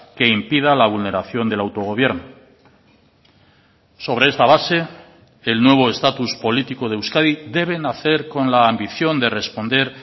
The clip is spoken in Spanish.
que impida la vulneración del autogobierno sobre esta base el nuevo estatus político de euskadi debe nacer con la ambición de responder